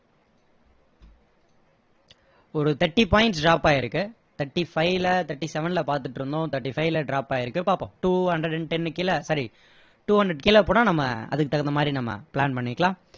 ஒரு thirty points drop ஆகிருக்கு thirty-five ல thirty-seven ல பாத்துட்டு இருந்தோம் thirty-five ல drop ஆகிருக்கு பார்ப்போம் two hundred and ten கீழ sorry two hundred கீழ போனா நாம அதுக்கு தகுந்த மாதிரி நாம plan பண்ணிக்கலாம்